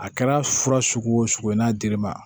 A kɛra fura sugu o sugu ye n'a dir'i ma